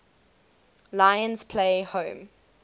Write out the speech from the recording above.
lions play home